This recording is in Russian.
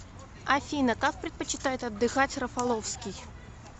афина как предпочитает отдыхать рафаловский